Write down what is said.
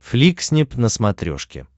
фликснип на смотрешке